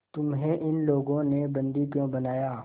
तुम्हें इन लोगों ने बंदी क्यों बनाया